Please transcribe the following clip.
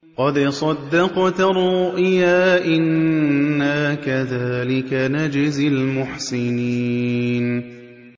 قَدْ صَدَّقْتَ الرُّؤْيَا ۚ إِنَّا كَذَٰلِكَ نَجْزِي الْمُحْسِنِينَ